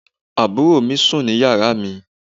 àbúrò mi sùn ní yàrá mi